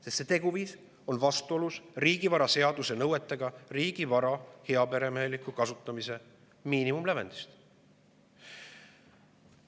Sest see teguviis on vastuolus riigivaraseaduse nõuetega, riigivara heaperemeheliku kasutamise miinimumlävendiga.